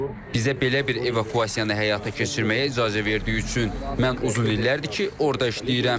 Bizə belə bir evakuasiyanı həyata keçirməyə icazə verdiyi üçün mən uzun illərdir ki, orda işləyirəm.